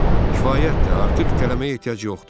Kifayətdir, artıq itələməyə ehtiyac yoxdur.